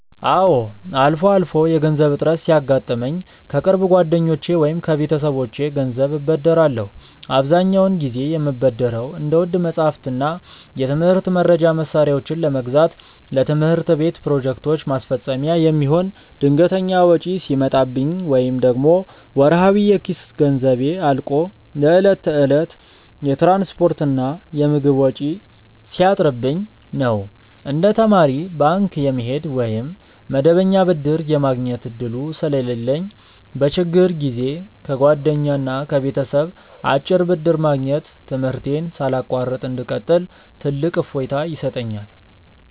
አዎ፣ አልፎ አልፎ የገንዘብ እጥረት ሲያጋጥመኝ ከቅርብ ጓደኞቼ ወይም ከቤተሰቦቼ ገንዘብ እበደራለሁ። አብዛኛውን ጊዜ የምበደረው እንደ ውድ መጻሕፍትና የትምህርት መርጃ መሣሪያዎችን ለመግዛት፣ ለትምህርት ቤት ፕሮጀክቶች ማስፈጸሚያ የሚሆን ድንገተኛ ወጪ ሲመጣብኝ፣ ወይም ደግሞ ወርሃዊ የኪስ ገንዘቤ አልቆ ለዕለት ተዕለት የትራንስፖርትና የምግብ ወጪ ሲያጥርብኝ ነው። እንደ ተማሪ ባንክ የመሄድ ወይም መደበኛ ብድር የማግኘት ዕድሉ ስለሌለኝ፣ በችግር ጊዜ ከጓደኛና ከቤተሰብ አጭር ብድር ማግኘት ትምህርቴን ሳላቋርጥ እንድቀጥል ትልቅ እፎይታ ይሰጠኛል።